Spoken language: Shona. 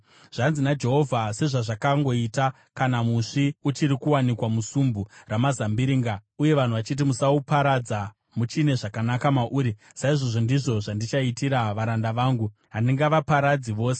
Zvanzi naJehovha: “Sezvazvakangoita kana musvi uchiri kuwanikwa musumbu ramazambiringa uye vanhu vachiti, ‘Musauparadza, muchine zvakanaka mauri,’ saizvozvo ndizvo zvandichaitira varanda vangu; handingavaparadzi vose.